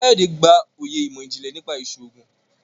Kayode gbà oyè imọ-jinlẹ nípa iṣoogun